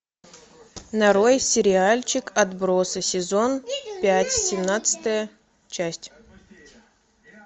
нарой сериальчик отбросы сезон пять семнадцатая часть